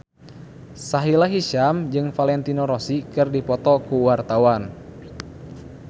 Sahila Hisyam jeung Valentino Rossi keur dipoto ku wartawan